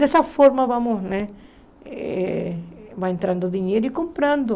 Dessa forma, vamos né eh vai entrando dinheiro e comprando.